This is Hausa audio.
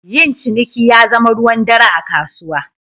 Yin ciniki ya zama ruwan dare a kasuwa.